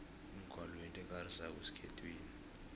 umgwalo yinto ekarisako esikhethwini